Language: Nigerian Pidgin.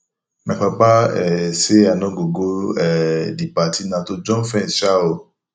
my papa um say i no go go um the party na to jump fence um oo